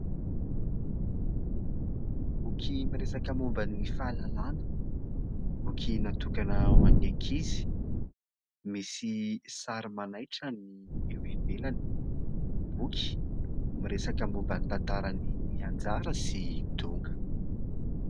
Boky miresaka momba ny fahalalàna, boky natokana ho an'ny ankizy, misy sary manaitra ny eo ivelan'ny boky. Miresaka momba ny tantaran'i Anjara sy Donga.